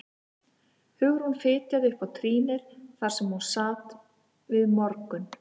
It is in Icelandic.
Hugrún fitjaði upp á trýnið þar sem hún sat við morgun